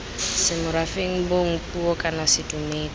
semorafeng bong puo kana sedumedi